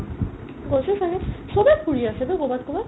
গৈছে ছাগে চবে ফুৰি আছে বে ক'ৰবাত ক'ৰবাত